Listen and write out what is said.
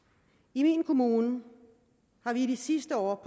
i min kommune har vi i de sidste år